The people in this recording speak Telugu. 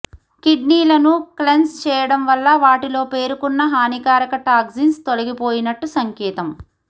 కిడ్నీలను క్లెన్స్ చేయడం వల్ల వాటిల్లో పేరుకున్న హానికారక టాక్సిన్స్ తొలగిపోయినట్టు సంకేతం